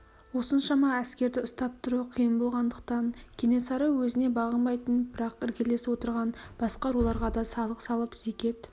осыншама әскерді ұстап тұру қиын болғандықтан кенесары өзіне бағынбайтын бірақ іргелес отырған басқа руларға да салық салып зекет